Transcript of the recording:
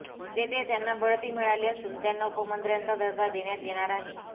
तेथे त्यांना बढती मिळाली असून त्यांना उपमंत्र्याचा दर्जा देण्यात येणार आहे